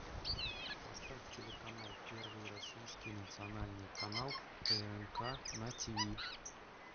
поставь телеканал первый российский национальный канал прнк на тиви